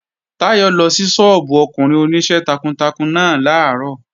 Táyọ̀ lọ sí sọ́ọ́bù ọkùnrin Oníṣẹ́ takuntakun náà làárọ̀